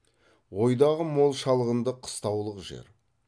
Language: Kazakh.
ойдағы мол шалғынды қыстаулық жер